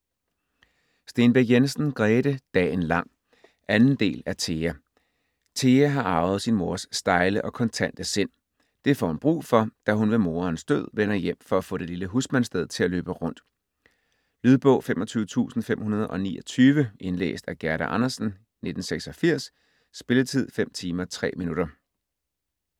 Stenbæk Jensen, Grete: Dagen lang 2. del af Thea. Thea har arvet sin mors stejle og kontante sind. Det får hun brug for, da hun ved moderens død vender hjem for at få det lille husmandssted til at løbe rundt. Lydbog 25529 Indlæst af Gerda Andersen, 1986. Spilletid: 5 timer, 3 minutter.